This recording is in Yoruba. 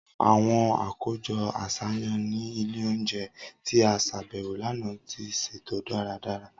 Awọn akojọ aṣayan ni ile ounjẹ ti a ṣabẹwo lana ti ṣeto daradara.